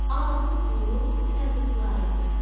Aldığı pulu fəqir-füqəraya payladı.